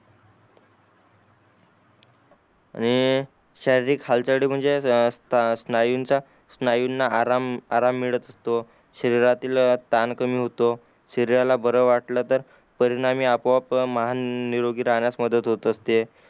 आणि शारीरिक हालचाल साठी म्हणजे स्ट स्नायूंचा स्नायूंना आराम आराम मिळत असतो शरीरातील ताण कमी होतो शरीराला बर वाटलं तर परिणामी आपोआप मन निरोगी राहण्यास मदत होते असते